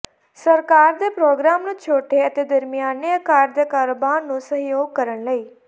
ਸਰਕਾਰ ਦੇ ਪ੍ਰੋਗਰਾਮ ਨੂੰ ਛੋਟੇ ਅਤੇ ਦਰਮਿਆਨੇ ਆਕਾਰ ਦੇ ਕਾਰੋਬਾਰ ਨੂੰ ਸਹਿਯੋਗ ਕਰਨ ਲਈ